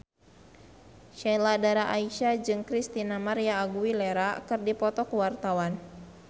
Sheila Dara Aisha jeung Christina María Aguilera keur dipoto ku wartawan